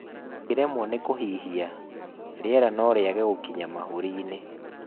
ũngiremwo ni kũhihia, rĩera norĩage gũkinya mahũri-ini